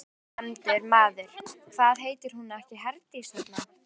Ónefndur maður: Hvað heitir hún ekki Herdís, þarna?